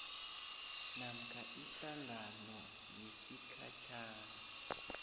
namkha ihlangano yesikhatjhana